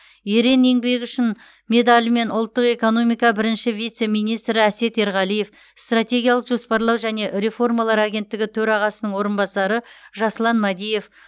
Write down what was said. ерен еңбегі үшін медалімен ұлттық экономика бірінші вице министрі әсет ерғалиев стратегиялық жоспарлау және реформалар агенттігі төрағасының орынбасары жаслан мәдиев